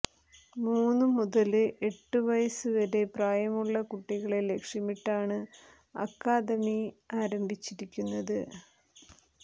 മൂന്നു മുതല് എട്ട് വയസ് വരെ പ്രായമുള്ള കുട്ടികളെ ലക്ഷ്യമിട്ടാണ് അക്കാദമി ആരംഭിച്ചിരിക്കുന്നത്